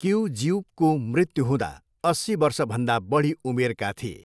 किउजिउकको मृत्यु हुँदा अस्सी वर्षभन्दा बढी उमेरका थिए।